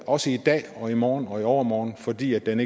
også i dag og i morgen og i overmorgen fordi den